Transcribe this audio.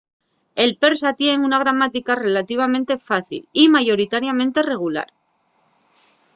el persa tien una gramática relativamente fácil y mayoritariamente regular